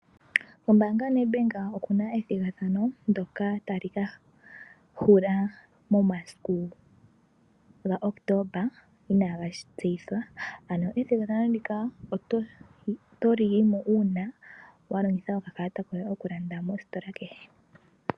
Kombaanga yoNedbank oku na ethigathano ndyoka tali ka hula momasiku ga Kotoba inaga tseyithwa. Ethigathano ndika oto yi mo uuna wa longitha okakalata koye okulanda mositola kehe.